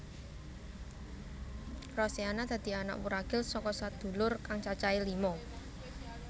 Rosiana dadi anak wuragil saka sadulur kang cacahé lima